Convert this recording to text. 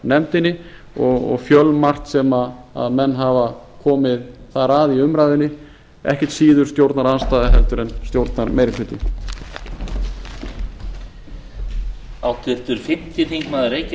fjárlaganefndinni og fjölmargt sem menn hafa komið þar að í umræðunni ekkert síður stjórnarandstaða heldur en stjórnarmeirihlutinn